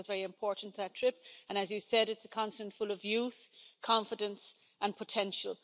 I think that was a very important trip and, as you said, it's a continent full of youth, confidence and potential.